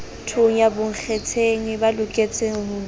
thonya bonkgetheng ba loketseng ho